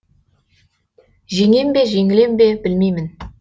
жеңем бе жеңілем бе білмеймін